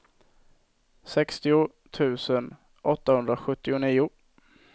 sextio tusen åttahundrasjuttionio